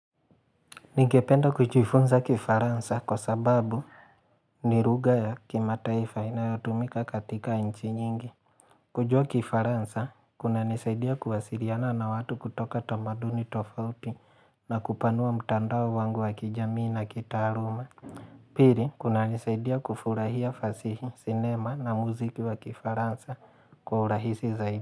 Ningependa kujifunza kifaransa kwa sababu ni lugha ya kimataifa inayotumika katika nchi nyingi. Kujua kifaransa, kunanisaidia kuwasiliana na watu kutoka tamaduni tofauti na kupanua mtandao wangu wa kijamii na kitaaluma. Pili, kunanisaidia kufurahia fasihi, sinema na muziki wa kifaransa kwa urahisi zaidi.